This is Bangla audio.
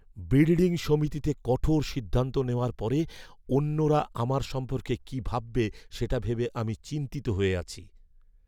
বিল্ডিং সমিতিতে কঠোর সিদ্ধান্ত নেওয়ার পরে অন্যরা আমার সম্পর্কে কি ভাববে সেটা ভেবে আমি চিন্তিত হয়ে আছি।